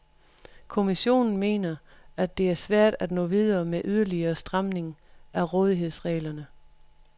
Kommissionen mener, at det er svært at nå videre med yderligere stramning af rådighedsreglerne.